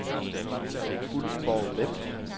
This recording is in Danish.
Ulfborg-Vemb